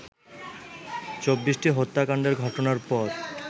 ২৪টি হত্যাকাণ্ডের ঘটনার পর